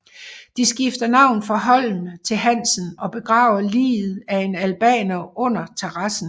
De skifter navn fra Holm til Hansen og begraver liget af en albaner under terrassen